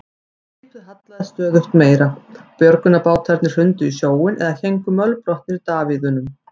Skipið hallaðist stöðugt meira, björgunarbátarnir hrundu í sjóinn eða héngu mölbrotnir í davíðunum.